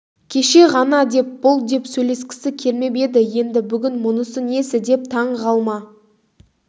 кеше ғана деп бұл деп сөйлескісі келмеп еді енді бүгін мұнысы несі деп таңғалма